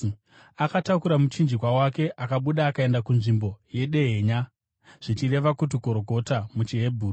Akatakura muchinjikwa wake, akabuda akaenda kunzvimbo yeDehenya (zvichireva kuti Gorogota muchiHebheru).